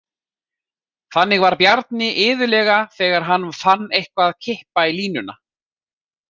Þannig var Bjarni iðulega þegar hann fann eitthvað kippa í línuna.